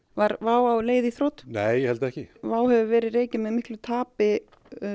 var WOW á leið í þrot nei ég held ekki WOW hefur verið rekið með miklu tapi